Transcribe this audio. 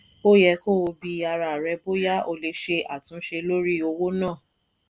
ó yẹ kó o bi ara rẹ bóyá o lè ṣe àtúnṣe lórí owó ná.